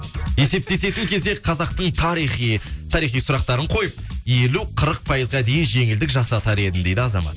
есептесетін кезде қазақтың тарихи тарихи сұрақтарын қойып елу қырық пайызға дейін жеңілдік жасатар едім дейді азамат